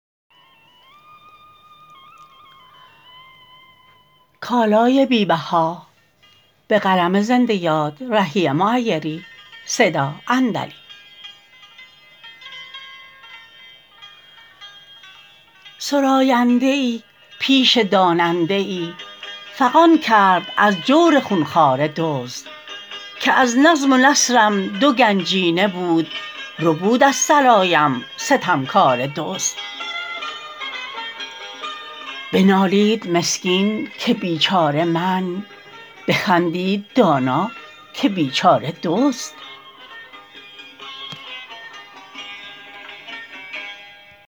سراینده ای پیش داننده ای فغان کرد از جور خونخواره دزد که از نظم و نثرم دو گنجینه بود ربود از سرایم ستمکاره دزد بنالید مسکین که بیچاره من بخندید دانا که بیچاره دزد